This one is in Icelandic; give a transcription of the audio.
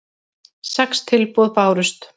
Sex tilboð bárust.